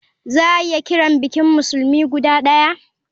Za a iya kiran bikin musulmi guda daya.